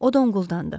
O donquldandı.